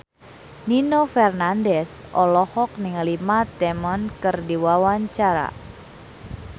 Nino Fernandez olohok ningali Matt Damon keur diwawancara